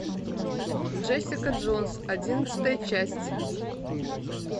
джессика джонс одиннадцатая часть